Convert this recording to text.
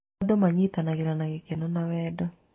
Andũ manyitanagĩra na gĩkeno na wendo.